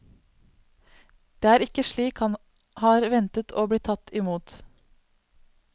Det er ikke slik han har ventet å bli tatt i mot.